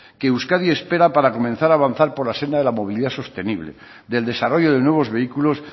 que euskadi espera para comenzar a avanzar por la senda de la movilidad sostenible del desarrollo de nuevos vehículos